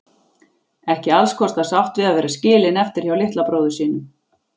Ekki allskostar sátt við að vera skilin eftir hjá litla bróður sínum.